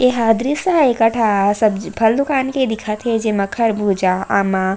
एहा दृस्य ह एक ठा सब्जी फल दुकान के दिखथ हे जेमा खरबूजा आमा --